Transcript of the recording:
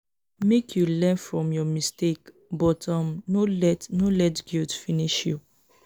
make you learn from your mistake but um no let no let guilt finish you.